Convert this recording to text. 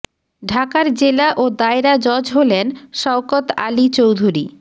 ঢাকার জেলা ও দায়রা জজ হলেন শওকত আলী চৌধুরী